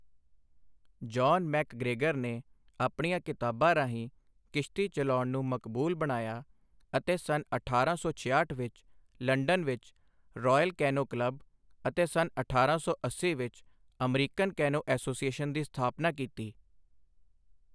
John MacGregor ਨੇ ਆਪਣੀਆਂ ਕਿਤਾਬਾਂ ਰਾਹੀਂ ਕਿਸ਼ਤੀ ਚਲਾਉਣ ਨੂੰ ਮਕਬੂਲ ਬਣਾਇਆ ਅਤੇ ਸੰਨ ਅਠਾਰਾਂ ਸੌ ਛਿਆਹਠ ਵਿੱਚ ਲੰਡਨ ਵਿੱਚ ਰਾਇਲ ਕੈਨੋ ਕਲੱਬ ਅਤੇ ਸੰਨ ਅਠਾਰਾਂ ਸੌ ਅੱਸੀ ਵਿੱਚ ਅਮੈਰੀਕਨ ਕੈਨੋ ਐਸੋਸੀਏਸ਼ਨ ਦੀ ਸਥਾਪਨਾ ਕੀਤੀ।